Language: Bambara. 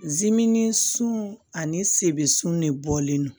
Zimini sun ani sebun ne bɔlen don